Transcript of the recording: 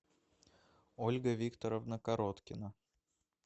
ольга викторовна короткина